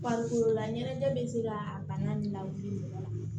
Farikololaɲɛnajɛ bɛ se ka bana lawuli mɔgɔ la